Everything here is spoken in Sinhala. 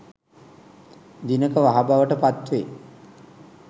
දිනක වහ බවට පත් වේ